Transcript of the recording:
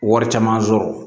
Wari caman sɔrɔ